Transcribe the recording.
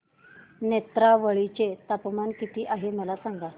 नेत्रावळी चे तापमान किती आहे मला सांगा